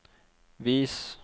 vis